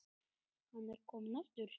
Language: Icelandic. Hann er kominn aftur!